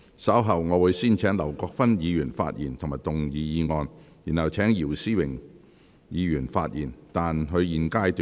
稍後我會先請劉國勳議員發言及動議議案，然後請姚思榮議員發言，但他在現階段不可動議修正案。